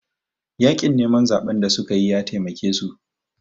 Yaƙin neman zaɓen da suka yi ya taimake su